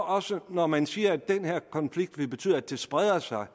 også når man siger at den her konflikt vil betyde at det spreder sig